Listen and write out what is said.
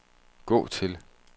gå til